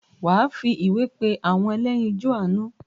wà á fi ìwé pé “ àwọn ẹlẹ́yinjún àánú ”?